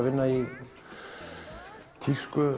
vinna í